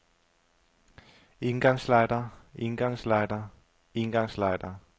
engangslightere engangslightere engangslightere